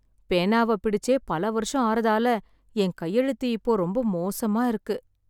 பேனாவைப் பிடிச்சே பல வருஷம் ஆறதால என் கையெழுத்து இப்போ ரொம்ப மோசமா இருக்கு.